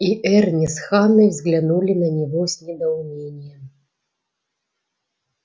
и эрни с ханной взглянули на него с недоумением